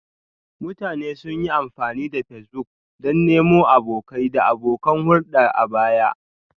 Mutane sun yi amfani da Facebook don nemo abokai da abokan hulɗa a baya